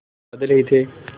बादल ही थे